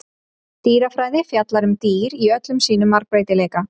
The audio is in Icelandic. Dýrafræði fjallar um dýr í öllum sínum margbreytileika.